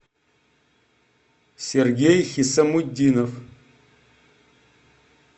сергей хисамутдинов